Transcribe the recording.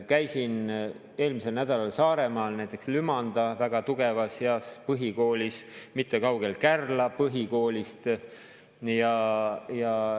Käisin eelmisel nädalal Saaremaal Lümanda väga tugevas ja heas põhikoolis, mis ei ole kaugel Kärla Põhikoolist.